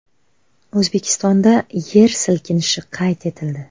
O‘zbekistonda yer silkinishi qayd etildi.